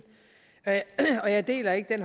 og jeg deler ikke